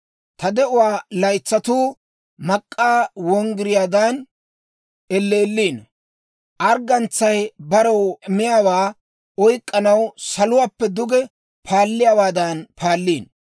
Ta de'uwaa laytsatuu mak'k'aa wonggiriyaadan elleelliino; arggantsay barew miyaawaa oyk'k'anaw saluwaappe duge paalliyaawaadan paalliino.